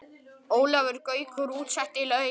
Ólafur Gaukur útsetti lögin.